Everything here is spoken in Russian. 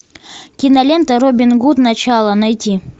кинолента робин гуд начало найти